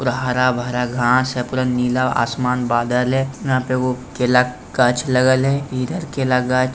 पूरा हरा-भरा घास है पूरा नीला आसमान बादल है यहां पे एगो केला गाछ लगल है इधर केला गाछ --